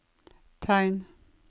tegn